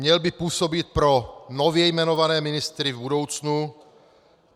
Měl by působit pro nově jmenované ministry v budoucnu.